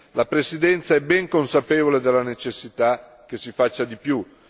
La Presidenza è ben consapevole della necessità che si faccia di più.